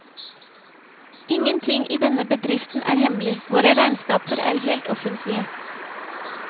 Ingenting i dennebedriften er hemmelig, våre regnskaper er helt offentlige.